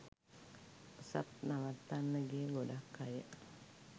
ඔසප් නවත්තන්න ගිය ගොඩක් අය